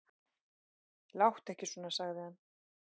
Láttu ekki svona, sagði hann.